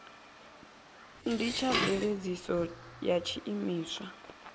ndi tsha mveledziso ya tshiimiswa